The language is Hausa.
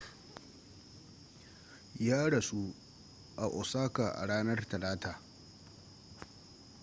ya rasu a osaka a ranar talata